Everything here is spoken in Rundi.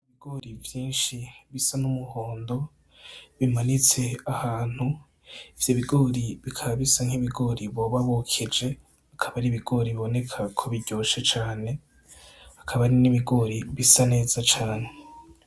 Ibigori vyinshi bisa n'umuhondo bimanitse ahantu, ivyo bigori bikabisa nk'ibigori boba bokeje akaba ari ibigori bboneka ko biryoshe cane akaba ari n'ibigori bisa neza cane.